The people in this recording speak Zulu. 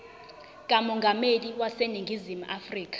kamongameli waseningizimu afrika